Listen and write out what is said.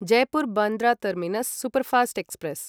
Jaipur Bandra terminus superfast express